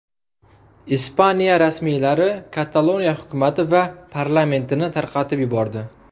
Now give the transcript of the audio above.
Ispaniya rasmiylari Kataloniya hukumati va parlamentini tarqatib yubordi.